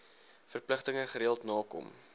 verpligtinge gereeld nakom